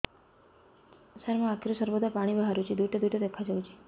ସାର ମୋ ଆଖିରୁ ସର୍ବଦା ପାଣି ବାହାରୁଛି ଦୁଇଟା ଦୁଇଟା ଦେଖାଯାଉଛି